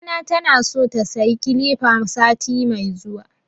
Mamana tana so ta sayi kilifa sati mai zuwa